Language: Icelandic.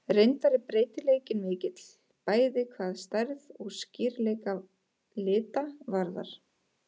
Reyndar er breytileikinn mikill, bæði hvað stærð og skýrleika lita varðar.